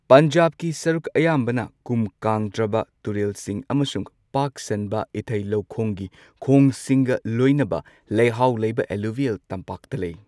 ꯄꯟꯖꯥꯕꯀꯤ ꯁꯔꯨꯛ ꯑꯌꯥꯝꯕꯅ ꯀꯨꯝ ꯀꯥꯡꯗ꯭ꯔꯕ ꯇꯨꯔꯦꯜꯁꯤꯡ ꯑꯃꯁꯨꯡ ꯄꯥꯛ ꯁꯟꯕ ꯏꯊꯥꯩ ꯂꯧꯈꯣꯡꯒꯤ ꯈꯣꯡꯁꯤꯡꯒ ꯂꯣꯏꯅꯕ ꯂꯩꯍꯥꯎ ꯂꯩꯕ ꯑꯦꯜꯂꯨꯕꯤꯌꯦꯜ ꯇꯝꯄꯥꯛꯇ ꯂꯩ꯫